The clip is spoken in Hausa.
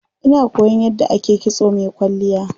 Ina koyan yadda ake kitso mai kwalliya.